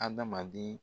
Adamaden